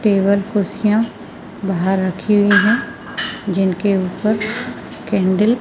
table कुर्सियां बाहर रखी हुईं है जिनके ऊपर कैंडल --